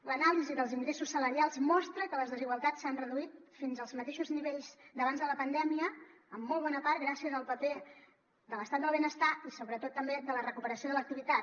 l’anàlisi dels ingressos salarials mostra que les desigualtats s’han reduït fins als mateixos nivells d’abans de la pandèmia en molt bona part gràcies al paper de l’estat del benestar i sobretot també de la recuperació de l’activitat